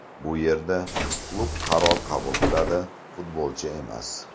Bu yerda klub qaror qabul qiladi, futbolchi emas.